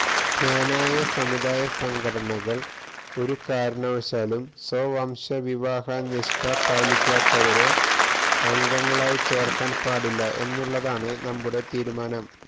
ക്നാനായ സമുദായ സംഘടനകള് ഒരു കാരണവശാലും സ്വവംശവിവാഹനിഷ്ഠ പാലിക്കാത്തവരെ അംഗങ്ങളായി ചേര്ക്കാന് പാടില്ല എന്നുള്ളതാണ് നമ്മുടെ തീരുമാനം